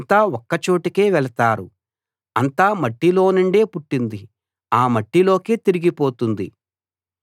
అంతా ఒక్క చోటికే వెళతారు అంతా మట్టిలోనుండి పుట్టింది ఆ మట్టిలోకే తిరిగి పోతుంది